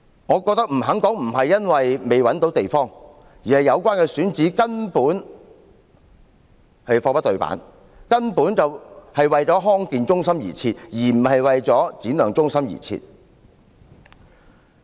我認為，他不肯回答，並不是因為未找到地方，而是由於有關選址根本貨不對辦，根本是為了康健中心而設，而不是為了展亮中心而設。